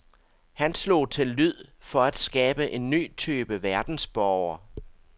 Han slog til lyd for at skabe en ny type verdensborger.